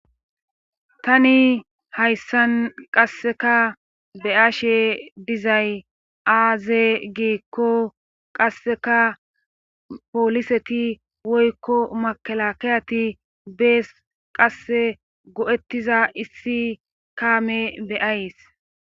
Tani hayssan qasseka beyashe dizay aaze giikko qasseka pooliseti woykko makala kayati bees qasse go7ettiza issi kaame beyays